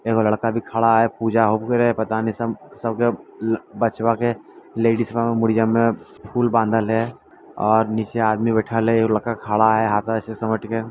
ये लड़का अभी खड़ा है पूजा रहे पता ने सब सबके बचवा के लेडिज बा के मुरियां में फूल बांधल हेय और नीचे आदमी बैठल हेय और लड़का खड़ा हेय हाथ के ऐसे समेट के।